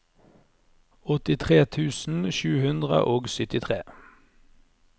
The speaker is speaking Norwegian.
åttitre tusen sju hundre og syttitre